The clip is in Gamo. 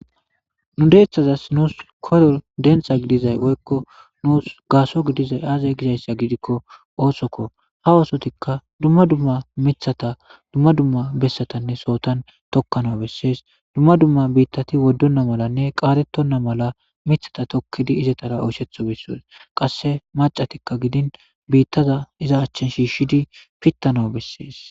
nu deeththazas nuus koro denxa gidizay oykko nuus gaaso gidizay aazay gizayssa gidikko oosokko ha osotikka dumma dumma mithata dumma dumma bessatanne sootan tokkana bessees dumma dumma biittati woddonna malanne qaatettonna mala mithata tokkidi izetara oyshetho bessees qasse macatikka gidin biittaza iza achchin shiishshidi pittano bessees